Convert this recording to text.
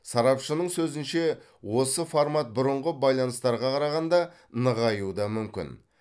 сарапшының сөзінше осы формат бұрынғы байланыстарға қарағанда нығаюы да мүмкін